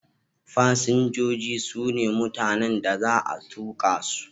Fasinjoji su ne mutanen da za a tuka su.